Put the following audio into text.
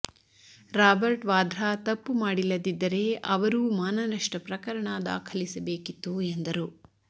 Robert Vadra ತಪ್ಪು ಮಾಡಿಲ್ಲದಿದ್ದರೆ ಅವರೂ ಮಾನನಷ್ಟ ಪ್ರಕರಣ ದಾಖಲಿಸಬೇಕಿತ್ತು ಎಂದರು